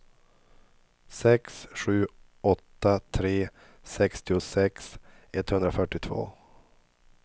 sex sju åtta tre sextiosex etthundrafyrtiotvå